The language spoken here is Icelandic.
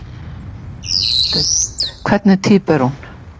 Hafsteinn: Hvernig týpa er hún?